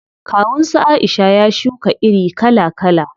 Kawun su Aisha ya shuka iri kala kala.